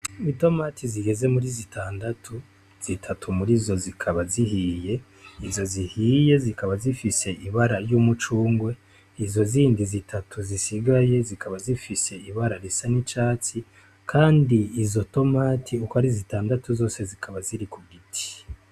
Itomati zigeze muri zitandatu zitanu muri zo zikaba zihiye , izo zihiye zikaba zifise ibara ry’ umucungwe izo zindi zitatu zisigaye zikaba zifise ibara ry’urwatsi kandi izo tomati uko ari zitandatu zose zikaba ziri ku giti .